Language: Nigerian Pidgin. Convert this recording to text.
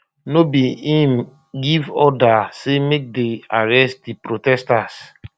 no be um im give order say make dey um arrest di protesters